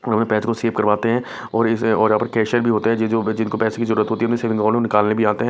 अपने पैच को सेव करवाते हैं और इस और यहां पर कैशियर भी होते हैं जो जिनको पैसे की जरूरत होती है सेविंग को निकालने भी आ--